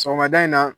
Sɔgɔmada in na